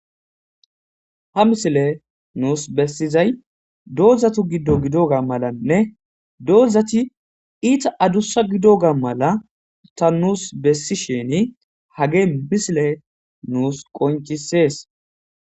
ha misiley nuus bessiizay doozattu giiddo giidoga malanne doozati itta aduussa giidoga mala ta nuus bessishini hagee misiley nuus qoncisees